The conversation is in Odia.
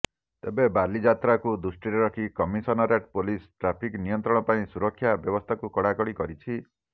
ତେବେ ବାଲିଯାତ୍ରାକୁ ଦୃଷ୍ଟିରେ ରଖି କମିସନରେଟ୍ ପୋଲିସ ଟ୍ରାଫିକ୍ ନିୟନ୍ତ୍ରଣ ପାଇଁ ସୁରକ୍ଷା ବ୍ୟବସ୍ଥାକୁ କଡ଼ାକଡ଼ି କରିଛି